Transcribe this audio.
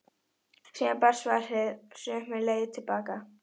Síðan barst svarið sömu leið til baka.